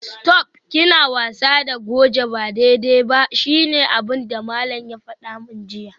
Stop!, kina wasa da goje ba daidai ba shine abinda malam ya fada min jiya